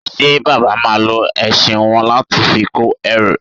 Ṣe Bàbá máa lo ẹṣin wọn láti fi kó ẹrù?